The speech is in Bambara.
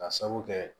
Ka sabu kɛ